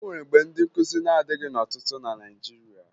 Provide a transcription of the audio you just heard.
O nwere mgbe ndị nkụzi na-adịghị ọtụtụ na Naịjirịa